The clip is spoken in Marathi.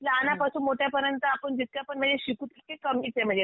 लहानापासून मोठ्यापर्यंत आपण जितक्यापण म्हणजे शिकू तितके कमीच आहे म्हणजे